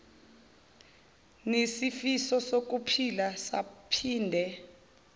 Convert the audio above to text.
nisifiso sokuphila saphinde